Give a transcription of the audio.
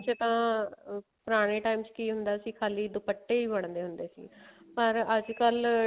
ਇਸ ਚ ਤਾਂ ਪੁਰਾਣੇ time ਚ ਕੀ ਹੁੰਦਾ ਸੀ ਖੱਲੀ ਦੁਪੱਟੇ ਹੀ ਬੰਦੇ ਹੁੰਦੇ ਸੀ ਪਰ ਅੱਜਕਲ